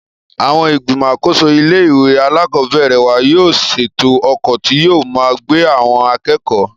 Àwon ìgbìmò àkóso ilé ìwé alákòóbèrè wa yóò sètò okò tí yóò máa gbé àwon akékòó